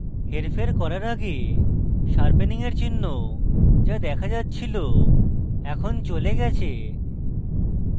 হেরফের করার আগে sharpening এর চিহ্ন the দেখা যাচ্ছিল এখন চলে গেছে